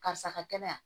Karisa ka kɛnɛ